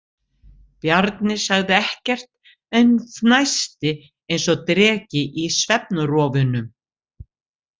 Bjarni sagði ekkert en fnæsti eins og dreki í svefnrofunum.